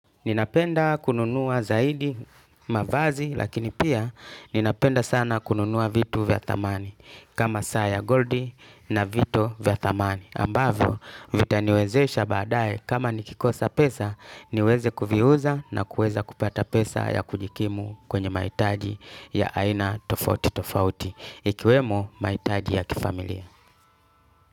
Ninapenda kununua zaidi, mavazi, lakini pia ninapenda sana kununua vitu vya thamani, kama saa goldi na vito vya thamani. Ambavyo, vitaniwezesha baadae, kama nikikosa pesa, niweze kuviuza na kuweza kupata pesa ya kujikimu kwenye mahitaji ya aina tofauti tofauti, ikiwemo mahitaji ya kifamilia.